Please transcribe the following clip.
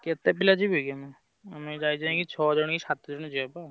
କେତେପିଲା ଯିବେ କି।